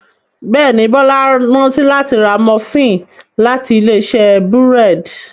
Béèni Bola rántí láti rà Múfìn láti Ilé-iṣẹ́ búrẹ́d.